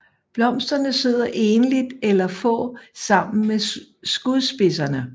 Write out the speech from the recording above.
Blomsterne sidder enligt eller få sammen ved skudspidserne